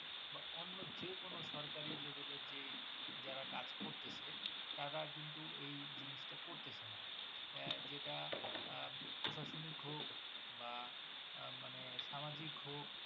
অন্য যে কোন সরকারি Level এর যেই যারা কাজ করতেছে তারা কিন্তু এই জিনিসটা করতেছে না এ যেটা আহ প্রশাসনিক হক বা আহ মানে সামাজিক হোক ।